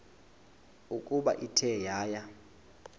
ukuba ithe yaya